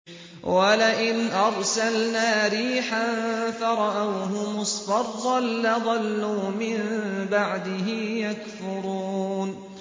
وَلَئِنْ أَرْسَلْنَا رِيحًا فَرَأَوْهُ مُصْفَرًّا لَّظَلُّوا مِن بَعْدِهِ يَكْفُرُونَ